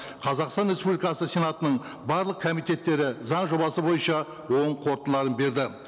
қазақстан республикасы сенатының барлық комитеттері заң жобасы бойынша оң қорытындыларын берді